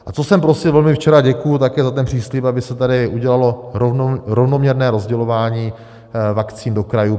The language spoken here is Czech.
A co jsem prosil velmi včera, děkuji také za ten příslib, aby se tady udělalo rovnoměrné rozdělování vakcín do krajů.